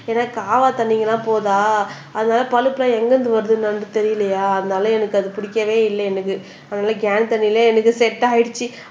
ஏன்னா காவா தண்ணிங்க எல்லாம் போகுதா அதனால பலுப்பெல்லாம் எங்கிருந்து வருதுன்னு நமக்கு தெரியலையா அதனால எனக்கு அது பிடிக்கவே இல்லை எனக்கு அதனால கேன் தண்ணிலேயே எனக்கு செட் ஆயிடுச்சு